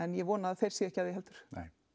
ég vona þeir séu ekki að því heldur nei